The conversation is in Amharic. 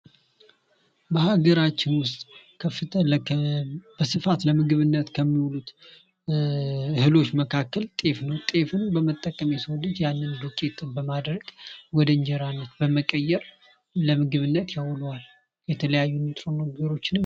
ምግብ ሰውነትን የሚያበረታታ፣ የሚያሳድግና ከበሽታ የሚከላከል የተለያዩ ንጥረ ነገሮችን እንደ ካርቦሃይድሬት፣ ፕሮቲንና ስብ ይዟል።